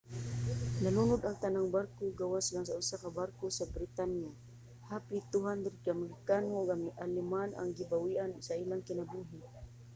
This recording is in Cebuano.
nalunod ang tanang barko gawas lang sa usa ka barko sa britanya. hapit 200 ka amerikano ug aleman ang gibawian sa ilang kinabuhi